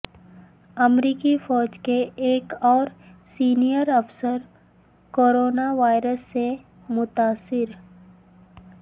امریکی فوج کے ایک اور سینئر افسر کرونا وائرس سے متاثر